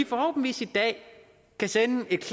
forhåbentlig kan sende et